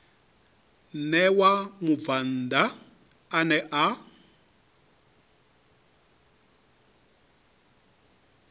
ṋewa mubvann ḓa ane a